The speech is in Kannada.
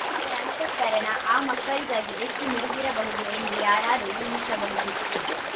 ಅವರ ಅಂತಃಕರಣ ಆ ಮಕ್ಕಳಿಗಾಗಿ ಎಷ್ಟುಮಿಡಿದಿರಬಹುದು ಎಂದು ಯಾರಾದರೂ ಊಹಿಸಬಹುದು